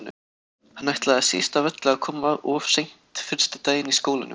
Hann ætlaði síst af öllu að koma of seint fyrsta daginn í skólanum.